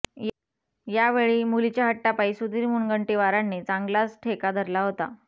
यावेळी मुलीच्या हट्टापाई सुधिर मुनगंटीवारांनी चांगलाचं ठेका धरला होता